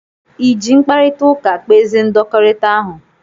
I ji mkparịta ụka kpezie ndọkọrita ahụ?